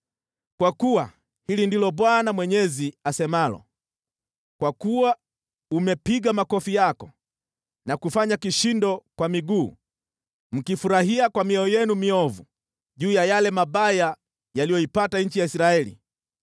Kwa kuwa hili ndilo Bwana Mwenyezi asemalo: Kwa kuwa umepiga makofi yako na kufanya kishindo kwa miguu, mkifurahia kwa mioyo yenu miovu juu ya yale mabaya yaliyoipata nchi ya Israeli,